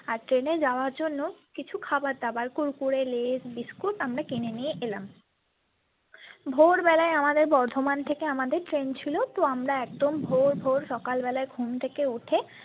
আর ট্রেনে যাবার জন্য কিছু খাবারদাবার kurkurelaysbiscuit আমরা কিনে নিয়ে এলাম ভোরবেলা আমাদের বর্ধমান থেকে আমাদের train ছিল তো আমরা একদম ভোর ভোর সকালবেলা ঘুম থেকে উঠে।